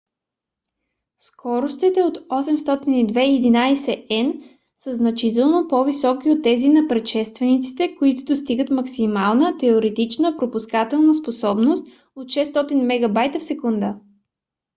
скоростите от 802.11n са значително по-високи от тези на предшествениците които достигат максимална теоретична пропускателна способност от 600 mbit/s